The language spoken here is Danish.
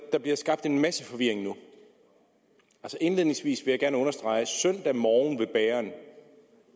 at der bliver skabt en masse forvirring nu indledningsvis vil jeg gerne understrege at søndag morgen ved bageren